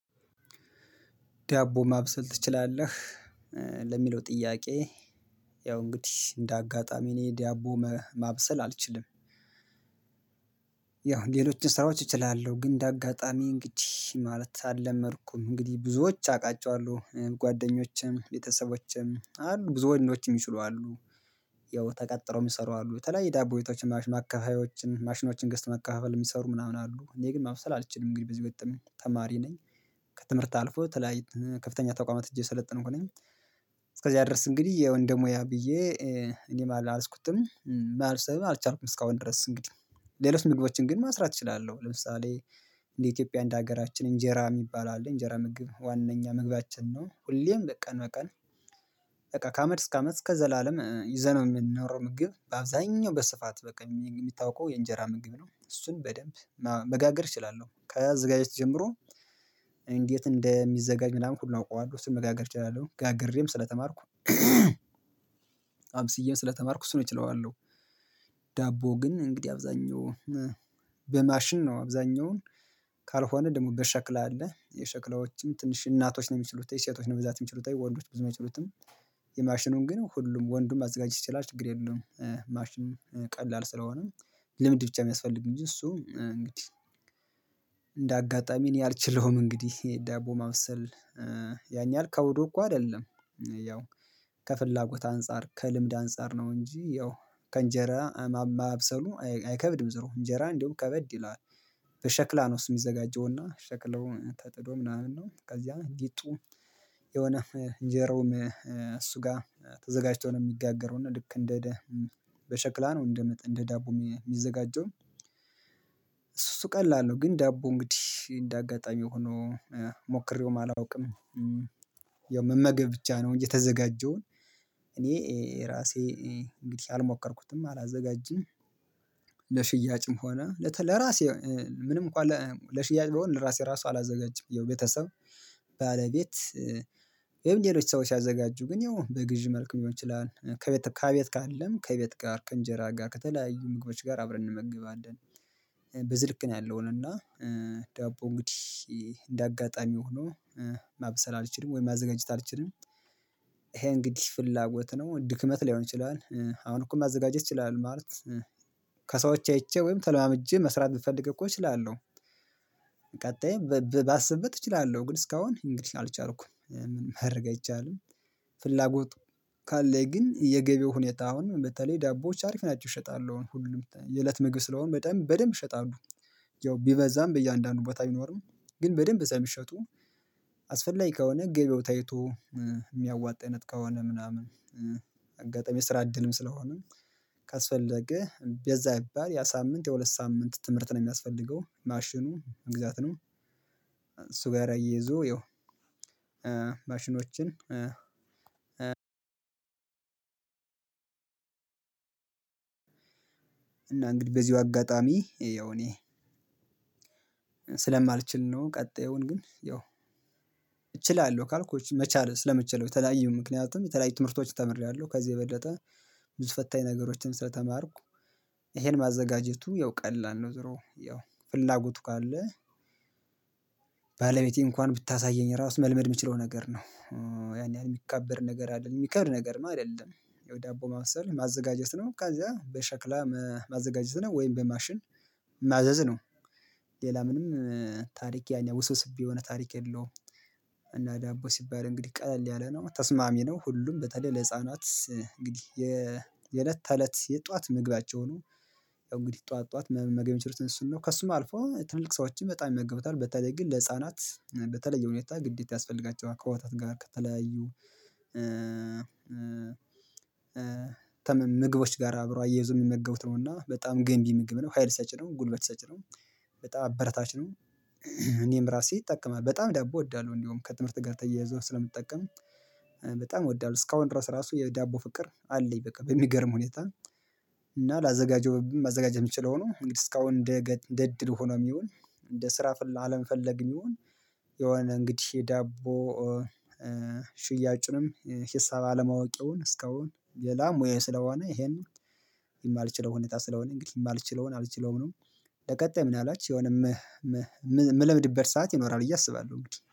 ዳቦ ማብሰል ትችላለህ ለሚለው ጥያቄ? ያው እንግዲህ እንደ አጋጣሚ እኔ ዳቦ ማብሰል አልችልም። ያው ሌሎችን ስራዎች እችላለሁ ግን እንደ አጋጣሚ እንግዲህ ማለት አልለመድኩም እንግዲህ ብዙዎች አውቃቸዋለሁ ጓደኞችም ቤተሰቦችም አሉ ብዙ ወንዶችም ይችሉ አሉ። ያው ተቀጥረው የሚሰሩ አሉ በተለያየ ዳቦ ቤቶችን ማሽን አካባቢዎችን ማሽኖችን ገስተው ማከፋፈል የሚሰሩ ምናምን አሉ እኔ ግን ማውሰል አልችልም እንግዲህ በዚህ ወጥም ተማሪ ነኝ። ከትምህርት አልፎ የተለያየ ከፍተኛ ተቋማት ሂጀ እየሰለጠንኩ ነኝ። እስከዚያ ድረስ እንግዲህ ያው እንደሙያ ብዬ እኔም አልያዝኩትም ማለት አልቻልኩም። እስካሁን ድረስ እንግዲህ ሌሎች ምግቦችን ግን መስራት እችላለሁ። ለምሳሌ እንደ ኢትዮጵያ እንደ ሀገራችን እንጀራ የሚባል አለ እንጀራ ምግብ ዋናኛ ምግባችን ነው። ሁሌም በቃ በቃ በቃ ከአመት እስከ አመት እስከ ዘላለም ይዘነው የምንኖረው ምግብ በአብዛኛው በስፋት በቃ እሚታወቀው የእንጀራ ምግብ ነው። እሱን በደንብ መጋገር እችላለሁ ከ አዘገጃጀት ጀምሮ እንዴት እንደሚዘጋጅ ምናምን ሁሉ አውቀዋለሁ እሱን መጋገር እችላለሁ። ጋግሬም ስለተማርኩ አብስዬም ስለተማርኩ እሱን ነው እችለውአለሁ። ዳቦ ግን እንግዲህ አብዛኛው በማሽን ነው አብዛኛውን ደግሞ በ ሸክላ አለ የሸክላዎችም ትንሽ እናቶች ነው የሚችሉት የሴቶች ነው ብዛት የሚችሉት ወንዶች ብዙ የሚችሉትም የማሽኑን ግን ሁሉም ወንዱን ማዘጋጀት ይችላል። ችግር የለውም። ማሽኑን ቀላል ስለሆነ ልምድ ብቻ የሚያስፈልግ እንጂ እሱ እንግዲህ እንደ አጋጣሚ እኔ አልችለውም። እንግዲህ የዳቦ ማብሰል ያን ያክል ከብዶ እኮ አይደለም። ያው ከፍላጎት አንፃር ከልምድ አንፃር ነው። እንጂ ያው ከእንጀራ ማብሰሉ አይከብድም ዙሮ እንጀራ እንዲያውም ከበድ ይላል። በሸክላ ነው እሱ የሚዘጋጀውና ሸክላው ተጥዶ ምናምን ነው። ከዚያ ሊጡ የሆነ እንጀራውም እሱ ጋር ተዘጋጅቶ ነው የሚጋገረው። እና ልክ እንደ ደብ በሸክላ ነው እንደ ደቡብ የሚዘጋጀው። እሱ እሱ ቀላል ነው ግን ዳቦ እንግዲህ እንደ አጋጣሚ ሆኖ ሞክሬውም አላውቅም። ያው መመገብ ብቻ ነው እንጂ የተዘጋጀውን እኔ ራሴ እንግዲህ አልሞከርኩትም አላዘጋጅም። ለሽያጭም ሆነ ለራሴ ምንም እኮ ለሽያጭ በሆነ ለራሴ ራሱ አላዘጋጅም። የቤተሰብ ባለቤት የምንለው ሰዎች ሲያዘጋጁ ግን ያው በግዢ መልኩ ሊሆን ይችላል ከቤት ከቤት ካለም ከቤት ጋር ከእንጀራ ጋር ከተለያዩ ምግቦች ጋር አብረን እንመገባለን። እንመገባለን በዝህ ልክ ነው። ያለው እና ዳቦ እንግዲህ እንደ አጋጣሚ ሆኖ ማብሰል አልችልም ወይም ማዘጋጀት አልችልም። ይሄ እንግዲህ ፍላጎት ነው ድክመት ላይሆን ይችላል አሁን እኮ ማዘጋጀት እችላለው ማለት። ከሰዎች አይቼ ወይም ተለዋምጄ መስራት ብፈልግ እኮ እችላለሁ። ባሰብበት እችላለሁ ግን እስካሁን እንግዲህ አልቻልኩም። ማድረግ አይቻልም። ፍላጎቱ ካለኝ ግን የገበው ሁኔታ አሁን በተለይ ዳቦዎች አሪፍ ናቸው እሸጣለሁ ሁሉም የእለት ምግብ ስለሆነ በደንብ በደንብ እሸጣለሁ። ያው ቢበዛም በእያንዳንዱ ቦታ አይኖርም ግን በደንብ ሰለሚሸጡ። አስፈላጊ ከሆነ ገበው ታይቶ የሚያዋጥነት ከሆነ ምናምን። አጋጣሚ ስራ እድልም ስለሆነ ካስፈለገ በዛ ቢባል የሳምንት የሁለት ሳምንት ትምህርት ነው የሚያስፈልገው ማሽኑ እንግዛትንም ነው። እሱ ጋር አያይዞ ያው ማሽኖችን እና እንግዲህ በዚሁ አጋጣሚ ያው እኔ ስለማልችል ነው። ቀጣዩን ግን ያው እችላለሁ ካልኩ መቻል ስለመቻል የተለያዩ ምክንያቱም የተለያዩ ትምህርቶች ተምሬያለሁ። ከዚህ የበለጠ ብዙ ፈታኝ ነገሮችን ስለተማርኩ። ይሄን ማዘጋጀቱ ያው ቀላል ነው። ዙሮ ያው ፍላጎቱ ካለ ባለቤቴ እንኳን ብታሳየኝ ራሱ መልመድ የምችለው ነገር ነው። ያን ያን የሚከብድ ነገር አይደለም የሚከብድ ነገር ነው አይደለም። ያው ባቦ ማብሰል ማዘጋጀት ነው ከዛ በሸክላ ማዘጋጀት ነው ወይም በማሽን ማዘዝ ነው። ሌላ ምንም ታሪክ ያኛ ውስውስብ የሆነ ታሪክ የለውም። ዳቦ ሲባል እንግዲህ ቀለል ያለ ነው ተስማሚ ነው። ሁሉም በተለይ ለህፃናት እንግዲህ የእለት ተእለት የጧት ምግባቸው ነው። ያው እንግዲህ ጠዋት ጠዋት መመገብ እሚችሉት እሱን ነው ከእሱም አልፎ ትልቅ ሰዎችን በጣም ይመገቡታል በተለይ ግን ለህፃናት በተለይ የሁኔታ ግዴታ ያስፈልጋቸዋል ከወተት ጋር ከተለያዩ ምግቦች ጋር አብረው አያይዘው የሚመገቡት ነው። እና በጣም ገንቢ ምግብ ነው ሀይል ሰጪ ነው ጉልበት ሰጪ ነው። በጣም አበረታች ነው። እኔም ራሴ እጠቀማለሁ በጣም ደቦ እወዳለሁ። እንደውም ከትምህርት ጋር ተያይዞ ስለምትጠቀም በጣም እወዳለሁ እስካሁን ድረስ ራሱ የዳቦ ፍቅር አለኝ። በቃ በሚገርም ሁኔታ እና ላዘጋጀው ማዘጋጀት የምችለው ነው። እንግዲህ እስካሁን እንደ እድል ሆኖ የሚሆን እንደ ስራ አለመፈለግ ይሁን የሆነ እንግዲህ የዳቦ ሽያጭንም ሂሳብ አለማወቅ ይሁን እስካሁን ሌላ ሙያየ ስለሆነ ይሄን የማልችለው ሁኔታ ስለሆነ እንግዲህ የማልችለውን አልችለውም። ለቀጣይ ምንአልባች የሆነ እምለምድበት ሰዓት ይኖራል ብየ እያሰባለሁ እንግዲህ